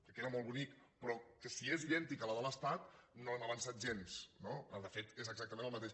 que queda molt bonic però que si és idèntica a la de l’estat no hem avançat gens no de fet és exactament el mateix